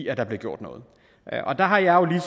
at der bliver gjort noget og der har jeg